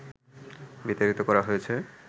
বিতাড়িত করা হয়েছে